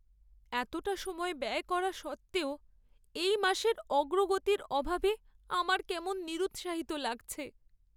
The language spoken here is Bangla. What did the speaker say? এতটা সময় ব্যয় করা সত্ত্বেও এই মাসের অগ্রগতির অভাবে আমার কেমন নিরুৎসাহিত লাগছে।